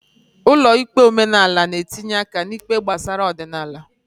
Ụlọ ikpe omenala n'etinye aka n'ikpe gbasara ọdịnala.